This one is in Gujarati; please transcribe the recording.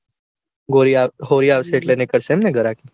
હોળી હોળી આવશે એટલે નીકળશે એમને ઘરાકી.